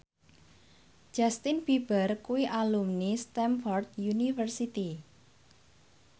Justin Beiber kuwi alumni Stamford University